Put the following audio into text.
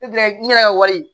Ne gilan n yɛrɛ ka wari